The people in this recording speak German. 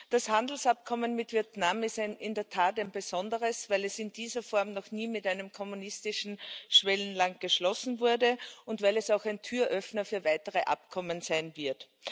Das Handelsabkommen mit Vietnam ist in der Tat ein besonderes, weil es in dieser Form noch nie mit einem kommunistischen Schwellenland geschlossen wurde und weil es auch ein Türöffner für weitere Abkommen sein wird.